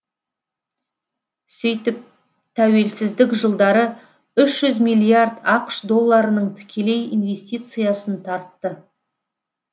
сөйтіп тәуелсіздік жылдары үш жүз миллиард ақш долларының тікелей инвестициясын тартты